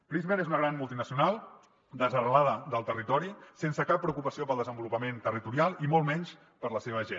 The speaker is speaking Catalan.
prysmian és una gran multinacional desarrelada del territori sense cap preocupació pel desenvolupament territorial i molt menys per la seva gent